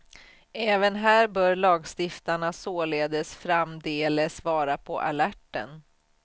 Även här bör lagstiftarna således framdeles vara på alerten.